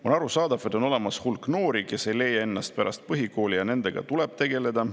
On arusaadav, et on olemas hulk noori, kes ei leia ennast pärast põhikooli, ja nendega tuleb tegeleda.